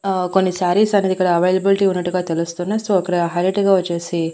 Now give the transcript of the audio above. ఆ కొన్ని సారీస్ అనేది ఇక్కడ అవైలబిలిటీ ఉన్నట్టుగా తెలుస్తుంది సో అక్కడ హైలైట్ గా వచ్చేసి.